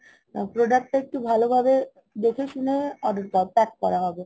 product টা একটু ভালোভাবে দেখে শুনে এর পর pack করা